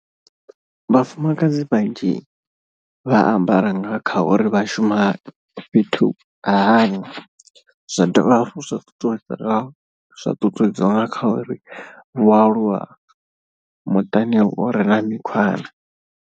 Vhafumakadzi vhanzhi vha ambara nga kha uri vha shuma fhethu ha hani. Zwa dovha hafhu zwa ṱuṱuwedza zwa ṱuṱuwedziwa nga kha uri vhoaluwa muṱani u re na mikhwa na.